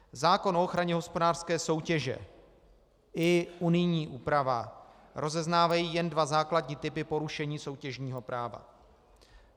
Zákon o ochraně hospodářské soutěže i unijní úprava rozeznávají jen dva základní typy porušení soutěžního práva.